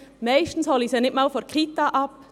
Meist hole ich sie nicht einmal von der Kita ab.